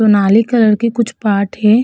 Colour की कुछ पाठ है।